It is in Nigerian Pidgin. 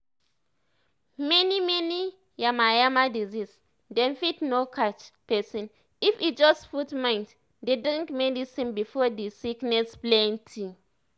many many yamayama diseases dem fit no catch pesin if e just put mind dey drink medicine before di sickness plenti